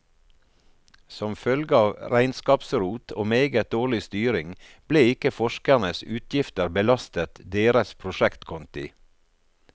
Som følge av regnskapsrot og meget dårlig styring ble ikke forskernes utgifter belastet deres prosjektkonti.